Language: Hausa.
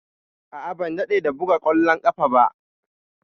A'a, ban dade da buga ƙwallon ƙafa ba.